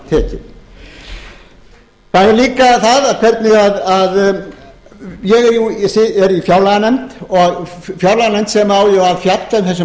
til orða tekið það er líka það hvernig ég er í fjárlaganefnd og fjárlaganefnd sem á jú að fjalla um þessi mál